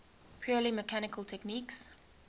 purely mechanical techniques